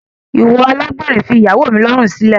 Iwọ alágbèrè fi ìyàwó mi lọrun silẹ!